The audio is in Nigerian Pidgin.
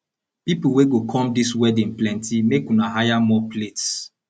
people wey go come dis wedding plenty make una hire more plates